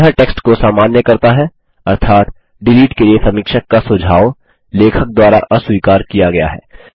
यह टेक्स्ट को सामान्य करता है अर्थात डिलीट के लिए समीक्षक का सुझाव लेखक द्वारा अस्वीकार किया गया है